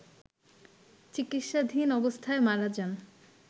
চিকিৎসাধীন অবস্থায় মারা যান